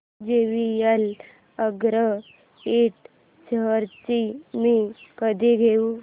JVL agro Ind shares मी कधी घेऊ